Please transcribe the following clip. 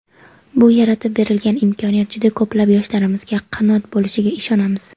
Bu yaratib berilgan imkoniyat juda ko‘plab yoshlarimizga qanot bo‘lishiga ishonamiz!.